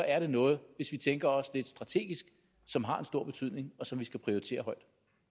er noget hvis vi tænker også lidt strategisk som har en stor betydning og som vi skal prioritere højt